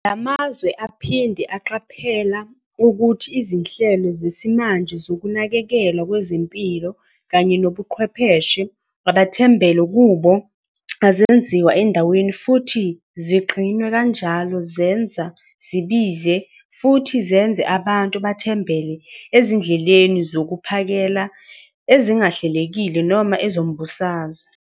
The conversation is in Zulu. La mazwe aphinde aqaphela ukuthi izinhlelo zesimanje zokunakekelwa kwezempilo kanye nobuchwepheshe abathembele kubo azenziwa endaweni futhi zigcinwe kanjalo zenza zibize futhi zenze abantu bathembele ezindleleni zokuphakela ezingahlelekile noma ezombusazwe.